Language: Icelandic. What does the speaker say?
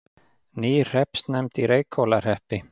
Ný hreppsnefnd í Reykhólahreppi